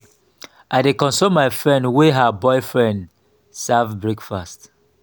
i dey console my friend wey her boyfriend serve breakfast.